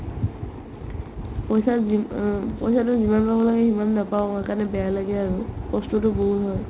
পইচা যি অ পইচাতো যিমান টকা লাগে সিমান নাপাও সেইকাৰণে বেয়া লাগে আৰু কষ্টতো বহুত হয়